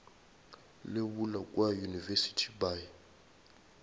le bula kua university by